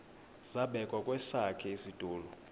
zabekwa kwesakhe isitulo